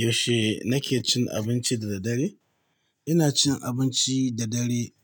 Yaushe nake cin abinci da daddare? Ina cin abinci da dare